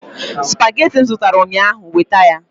Supagetii m zụtara ụnyaahụ weta ya!